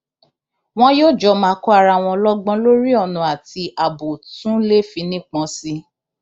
wọn yóò jọ máa kọ ara wọn lọgbọn lórí ọnà tí ààbò tún léfì nípọn sí i